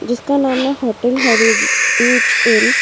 जिसका नाम है होटल है हेरिटेज इन ।